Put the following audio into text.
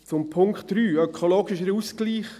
Zu Punkt 3, ökologischer Ausgleich: